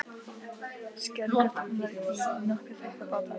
Skerðu kartöflurnar í nokkuð þykka báta.